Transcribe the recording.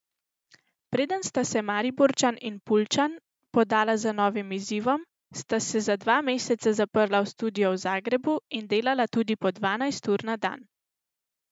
Preden sta se Mariborčan in Puljčan podala za novim izzivom, sta se za dva meseca zaprla v studio v Zagrebu in delala tudi po dvanajst ur na dan.